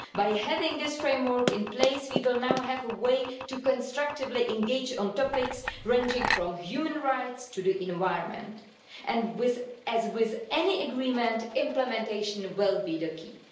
By having this framework in place, we will now have a way to constructively engage on topics ranging from human rights to the environment and, as with any agreement, implementation will be the key.